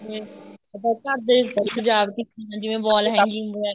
ਆਪਾਂ ਘਰ ਦੇ ਸਜਾਵਟੀ ਚੀਜ਼ਾਂ ਜਿਵੇਂ wall hanging ਵਗੈਰਾ